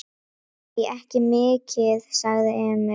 Nei, ekki mikið, sagði Emil.